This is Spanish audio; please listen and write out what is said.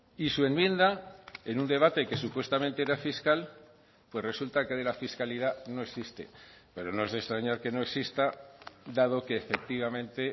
y su enmienda en un debate que supuestamente era fiscal pues resulta que de la fiscalidad no existe pero no es de extrañar que no exista dado que efectivamente